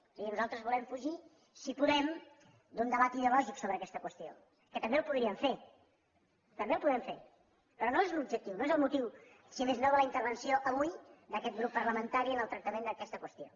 o sigui nosaltres volem fugir si podem d’un debat ideològic sobre aquesta qüestió que també el podríem fer també el podem fer però no és l’objectiu no és el motiu si més no de la intervenció avui d’aquest grup parlamentari en el tractament d’aquesta qüestió